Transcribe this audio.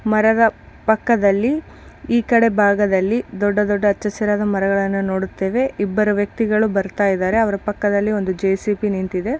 ಬರೆದ ಪಕ್ಕದಲ್ಲಿ ಈ ಕಡೆ ಭಾಗದಲ್ಲಿ ದೊಡ್ಡ ದೊಡ್ಡ ಹಚ್ಚಹಸಿರಾದ ಮರಗಳನ್ನು ನೋಡುತ್ತೇವೆ ಇಬ್ಬರು ವ್ಯಕ್ತಿಗಳು ಬರ್ತಾ ಇದ್ದಾರೆ ಅವರ ಪಕ್ಕದಲ್ಲಿ ಒಂದು ಜೆಸಿಬಿ ನಿಂತಿದೆ.